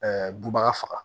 bubaga faga